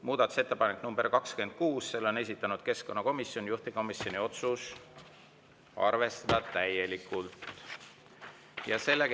Muudatusettepanek nr 26, selle on esitanud keskkonnakomisjon, juhtivkomisjoni otsus: arvestada täielikult.